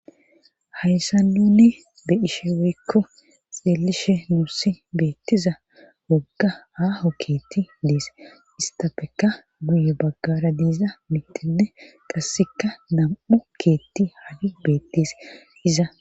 hayssa nunni be ishe weekko xeelishe nuussi beettiza wogga aaho keetti dees istapeka guye baggara deiza mittinne qasseka nam7u keetti hagi beettes iza